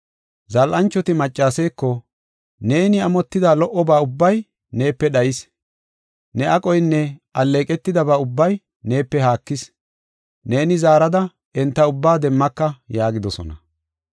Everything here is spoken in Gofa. “Zal7anchoti maccaseeko, ‘Neeni amotida lo77oba ubbay neepe dhayis. Ne aqoynne alleeqetidaba ubbay neepe haakis. Neeni zaarada enta ubbaa demmaka’ yaagidosona.